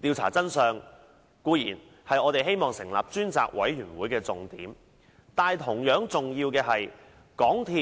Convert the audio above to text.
調查真相，固然是我們希望成立專責委員會的重點，但同樣重要的是，港鐵公司、